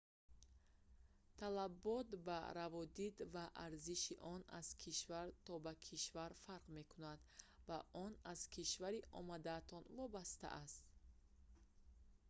талабот ба раводид ва арзиши он аз кишвар то ба кишвар фарқ мекунанд ва он аз кишвари омадаатон вобастааст